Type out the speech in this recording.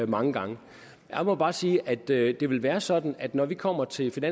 mange gange jeg må bare sige at det det vil være sådan at når vi kommer til til